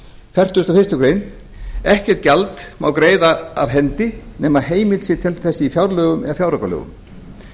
fertugustu og fyrstu grein ekkert gjald má greiða af hendi nema heimild sé til þess i fjárlögum eða fjáraukalögum